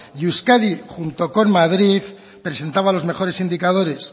y euskadi junto con madrid presentaba los mejores indicadores